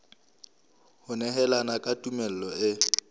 ho nehelana ka tumello e